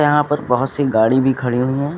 यहां पर बहोत सी गाड़ी भी खड़ी हुई हैं।